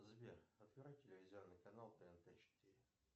сбер открой телевизионный канал тнт четыре